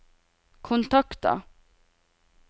kontakter